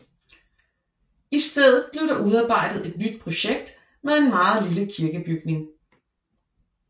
I stedet blev der udarbejdet et nyt projekt med en meget lille kirkebygning